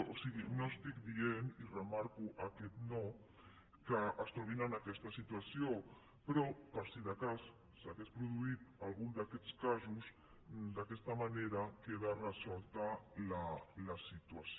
o sigui no estic dient i remarco aquest no que es trobin en aquesta situació però per si de cas s’hagués produït algun d’aquests casos d’aquesta manera queda resolta la situació